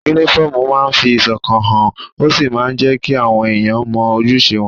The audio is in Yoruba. Únífọ́ọ̀mù máa ń fi ìṣọ̀kan hàn, ó sì máa ń jẹ́ kí àwọn èèyàn mọ ojúṣe wọn